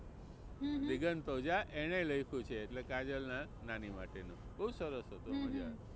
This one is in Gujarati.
દિગંત ઓઝા એને લખ્યું છે એટલે કાજલ ના નાની માટેનું. બહુ સરસ હતું મજાનું.